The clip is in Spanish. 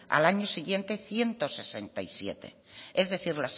al año siguiente ciento sesenta y siete es decir